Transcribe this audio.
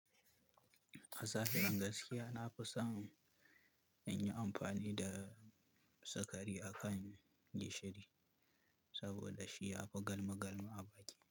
A safiyar gaskiya, na fi son in yi amfani da sukari a kan gishiri saboda shi ya fi galma galma a baki.